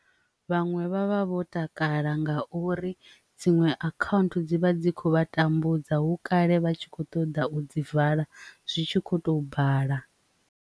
Vhaṅwe vha vha vho takala ngauri dziṅwe account dzi vha dzi kho vha tambudza hu kale vha tshi kho ṱoḓa u dzi vala zwi tshi kho to bala.